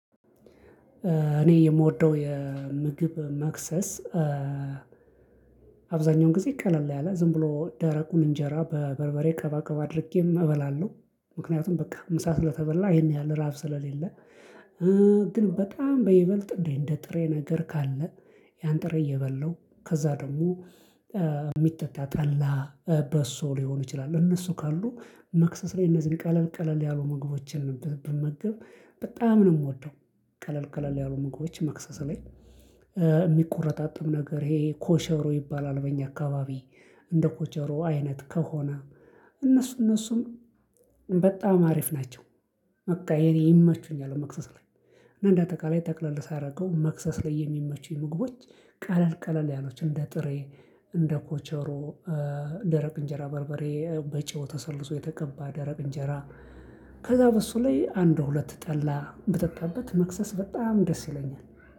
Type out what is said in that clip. እኔ የምወደው የምግብ መክሰስ አብዛኛውን ጊዜ ቀለል ያለ ዝም ብሎ ደረቁን እንጀራ በበርበሬ ቀባ ቀባ አድርጌም እበላለሁ ምክንያቱም በቃ ምሳ ስለተበላ ይሄን ያህል ረሃብ ስለሌለ። ግን በጣም በይበልጥ እንደ ጥሬ ነገር ካለ። ያን ጥሬ እየበላሁ ከዛ ደግሞ የሚጠጣ ጠላ በሶ ሊሆን ይችላል። እነሱ ካሉ መክሰስ ላይ እነዚህን ቀለል ቀለል ያሉ ምግቦችን ብመገብ በጣም ነው የምወደው። ቀለል ቀለል ያሉ ምግቦችን መክሰስ ላይ የሚቆረጣጥም ነገር ይሄ ኮሸሮ ይባላል በእኛ አካባቢ። እንደ ኮቸሮ አይነት ከሆነ እነሱ እነሱም በጣም አሪፍ ናቸው። በቃ የኔ ይመቹኛል መክሰስ ላይ። እና እንደ አጠቃላይ ጠቅለል ሳረገው መክሰስ ላይ የሚመቹኝ ምግቦች። ቀለል ቀለል ያሉት እንደ ጥሬ እንደ ኮቸሮ ደረቅ እንጀራ በርበሬ በጨው ተሰልዞ የተቀባ ደረቅ እንጀራ። ከዛ በሱ ላይ አንድ ሁለት ጠላ ብጠጣበት መክሰስ በጣም ደስ ይለኛል።